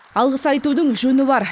алғыс айтудың жөні бар